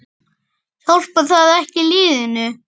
Hjálpar það ekki liðinu?